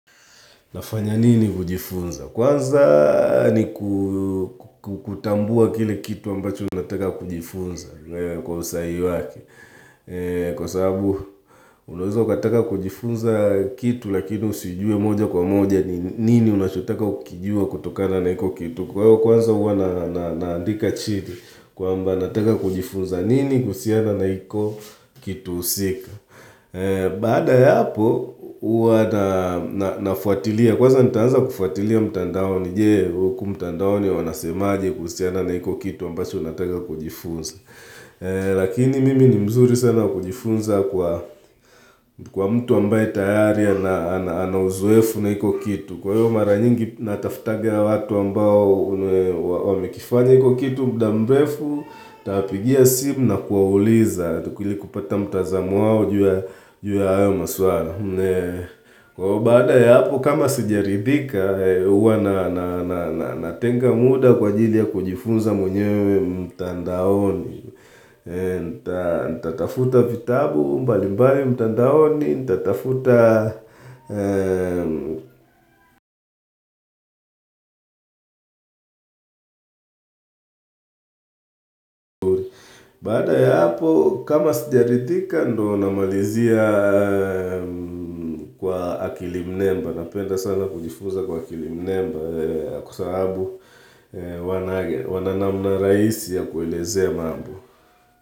Nafanya nini kujifunza? Kwanza ni kutambua kile kitu ambacho unataka kujifunza kwa usahihi wake Kwa sababu unaweza ukataka kujifunza kitu lakini usijue moja kwa moja ni nini unachotaka kukijua kutokana na hiko kitu. Kwa hiyo kwanza uwa naandika chini kwamba nataka kujifunza nini kuhusiana na hiko kitu husika. Baada ya hapo huwa nafuatilia Kwanza nitaanza kufuatilia mtandaoni Je uku mtandaoni wanasemaje kuhusiana na hiko kitu mbacho nataka kujifunza Lakini mimi ni mzuri sana kujifunza kwa mtu ambaye tayari Anauzoefu na hiko kitu Kwahiyo mara nyingi natafutaga watu ambao Wamekifanya hiko kitu mda mrefu nawapigia simu na kuwauliza ilikupata mtazamo wao juu ya hayo maswala Ko baada ya hapo kama sijarithika Uwa natenga muda kwaajili ya kujifunza mwenyewe mtandaoni Nitatafuta vitabu mbalimbali mtandaoni Nitatafuta Baada ya hapo kama sijarithika ndo namalizia kwa akili nnemba Napenda sana kujifunza kwa akili nnemba kwa sababu wananamna na rahisi ya kuelezea mambo.